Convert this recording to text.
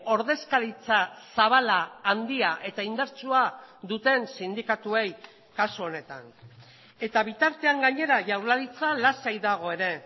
ordezkaritza zabala handia eta indartsua duten sindikatuei kasu honetan eta bitartean gainera jaurlaritza lasai dago ere